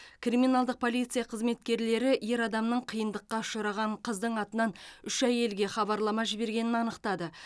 криминалдық полиция қызметкерлері ер адамның қиындыққа ұшыраған қыздың атынан үш әйелге хабарлама жібергенін анықтады